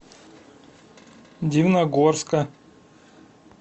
дивногорска